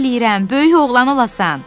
böyük oğlan olasan.